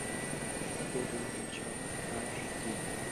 гоголь начало аш ди